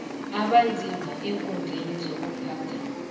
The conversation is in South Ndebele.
abanzima eenkhundleni zokuphatha